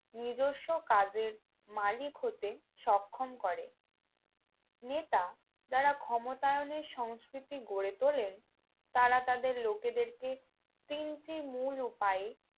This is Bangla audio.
নিজস্ব কাজের মালিক হতে সক্ষম করে নেতা যারা ক্ষমতায়নের সংস্কৃতি গড়ে তোলেন তারা তাদের লোকদেরকে তিনটি মূল উপায়ে